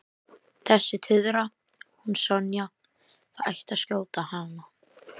Þessi tuðra, hún Sonja, það ætti að skjóta hana